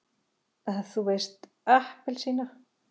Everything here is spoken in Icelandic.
þú veist APPELSÍNA!